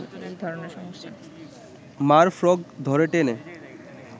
মা’র ফ্রক ধরে টেনে